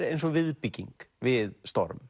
eins og viðbygging við storm